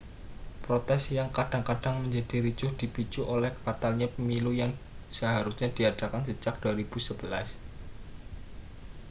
protes yang kadang-kadang menjadi ricuh dipicu oleh batalnya pemilu yang seharusnya diadakan sejak 2011